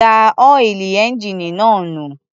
Dá ọ́ìlì ẹ́ńjíìnì náà nù.